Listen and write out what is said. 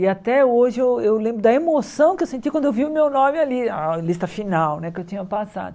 E até hoje eu eu lembro da emoção que eu senti quando eu vi o meu nome ali, a lista final né que eu tinha passado.